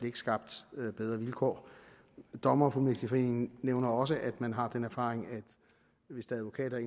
ikke skabt bedre vilkår dommerfuldmægtigforeningen nævner også at man har den erfaring at hvis advokater